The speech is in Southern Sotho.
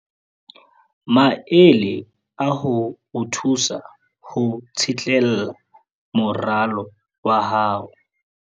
Maele a ho o thusa ho tsitlallela moralo wa hao.